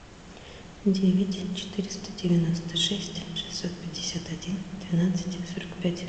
девять четыреста девяносто шесть шестьсот пятьдесят один двенадцать сорок пять